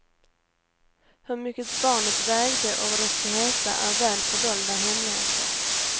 Hur mycket barnet vägde och vad det ska heta är väl fördolda hemligheter.